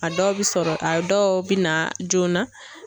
A dɔw bɛ sɔrɔ a dɔw bɛ na joona.